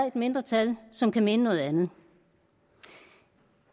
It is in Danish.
et mindretal som kan mene noget andet